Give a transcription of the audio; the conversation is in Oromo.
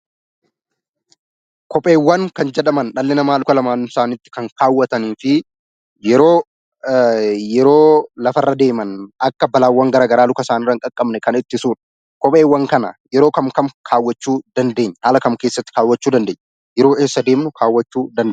Kopheewwan kan jedhaman dhalli namaa luka lamaan isaatti kan kaawwatanii fi yeroo lafarra deeman akka balaawwan gara garaa luka isaaniirra hin qaqqabneef kan ittisudha. Kopheewwan kana yeroo kam kam kaawwachuu dandeenya? Haala kam keessatti kaawwachuu dandeenya? Yeroo eessa deemnu?